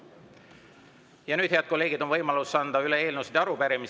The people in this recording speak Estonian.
Ja nüüd, head kolleegid, on võimalus anda üle eelnõusid ja arupärimisi.